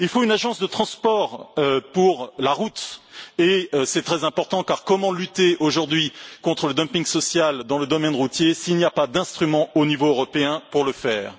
Il faut une agence de transport pour la route et c'est très important, car comment lutter aujourd'hui contre le dumping social dans le domaine routier s'il n'y a pas d'instruments au niveau européen pour le faire?